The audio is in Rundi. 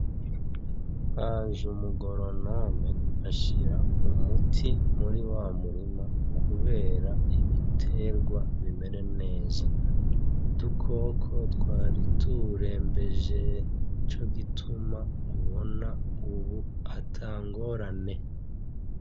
Haje umu goronome ashira umuti muri wa murima kubera ibitegwa bimere neza. Udukoko twari tuwurembeje! Nico gituma ubu mubona ata ngorane.